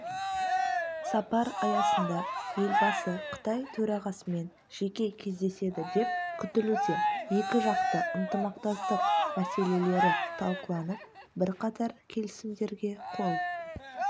сапар аясында елбасы қытай төрағасымен жеке кездеседі деп күтілуде екіжақты ынтымақтастық мәселелері талқыланып бірқатар келісімдерге қол